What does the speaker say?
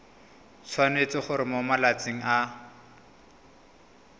tshwanetse gore mo malatsing a